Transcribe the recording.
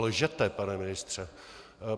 Lžete, pane ministře.